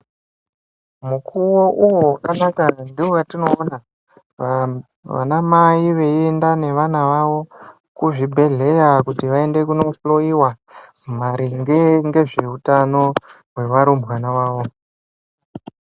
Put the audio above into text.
Mukuwo uwo wakanaka ndowatinoona vana mai veyiyenda nevana vavo kuzvibhedhleya kuti vaende kunohloyiwa maringe ngezveutano wevarumbwana wavo.